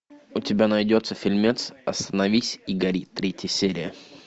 у тебя найдется фильмец остановись и гори третья серия